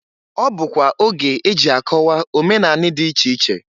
Ọ bụkwa oge eji akọwa omenani dị iche iche.